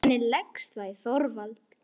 Hvernig leggst það í Þorvald?